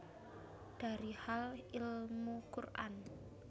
Dari Hal Ilmu Quran